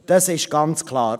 Das ist ganz klar.